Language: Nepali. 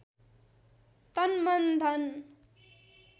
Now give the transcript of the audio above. तन मन धन